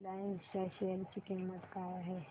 Reliance च्या share ची किंमत काय आहे